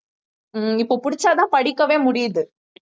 ஹம் இப்ப புடிச்சாதான் படிக்கவே முடியுது